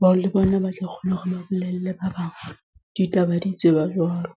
bao le bona ba tla kgona hore ba bolelle ba bang. Ditaba di tseba jwalo.